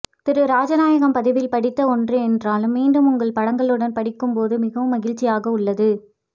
திரு ராஜநாயகம் பதிவில் படித்த ஒன்று என்றாலும் மீண்டும் உங்கள் படங்களுடன் படிக்கும் போது மிகவும் மகிழ்ச்சி ஆக உள்ளது